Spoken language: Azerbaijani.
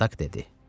Spartak dedi: